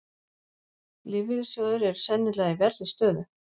Lífeyrissjóðir eru sennilega í verri stöðu